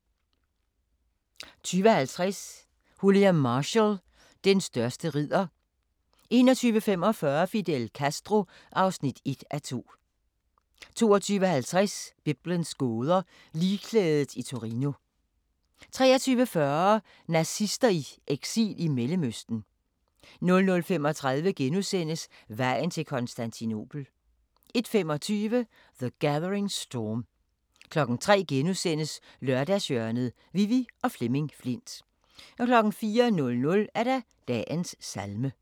20:50: William Marshall: Den største ridder 21:45: Fidel Castro (1:2) 22:50: Biblens gåder – Ligklædet i Torino 23:40: Nazister i eksil i Mellemøsten 00:35: Vejen til Konstantinopel (3:6)* 01:25: The Gathering Storm 03:00: Lørdagshjørnet: Vivi og Flemming Flindt * 04:00: Dagens salme *